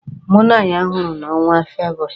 Mụ na ya hụrụ na ọnwa Febụwarị.